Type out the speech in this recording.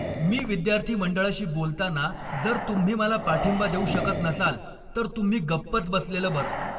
मी विद्यार्थी मंडळाशी बोलताना जर तुम्ही मला पाठिंबा देऊ शकत नसाल, तर तुम्ही गप्पच बसलेलं बरं.